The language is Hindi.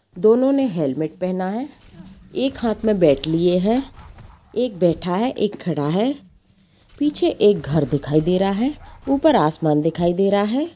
दोनों ने हैलमेट पहना है एक हाथ में बैट लिए है एक बैठा है एक खड़ा है पीछे एक घर दिखाई दे रहा है ऊपर आसमान दिखाई दे रहा है।